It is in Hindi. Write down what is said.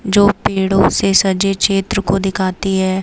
जो पेड़ों से सजे क्षेत्र को दिखाती है।